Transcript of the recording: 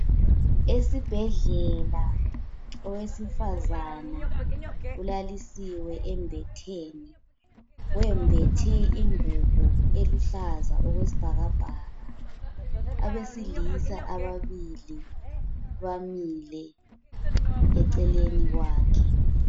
Esibhedlela owesifazana ulalisiwe embetheni? Wembethe ingubo eluhlaza okwesibhakabhaka. Abesilisa ababili bamile eceleni kwakhe.